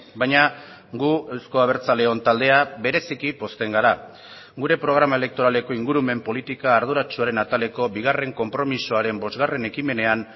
baina gu euzko abertzaleon taldea bereziki pozten gara gure programa elektoraleko ingurumen politika arduratsuaren ataleko bigarren konpromisoaren bosgarren ekimenean